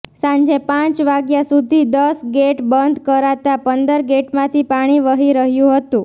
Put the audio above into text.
સાંજે પાંચ વાગ્યા સુધી દસ ગેટ બંધ કરાતા પંદર ગેટમાંથી પાણી વહી રહ્યું હતું